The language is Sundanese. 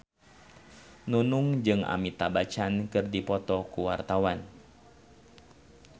Nunung jeung Amitabh Bachchan keur dipoto ku wartawan